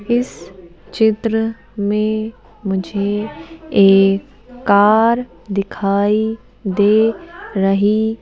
इस चित्र में मुझे एक कार दिखाई दे रही --